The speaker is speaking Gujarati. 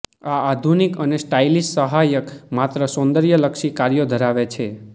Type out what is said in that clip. આ આધુનિક અને સ્ટાઇલિશ સહાયક માત્ર સૌંદર્યલક્ષી કાર્યો ધરાવે છે